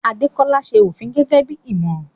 Adekoya ń ṣe òfin gẹ́gẹ́ bí ìmọ̀ràn.